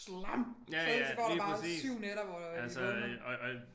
Slam så så går der bare 7 nætter hvor øh de vågner